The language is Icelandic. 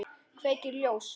Kveikir ljós.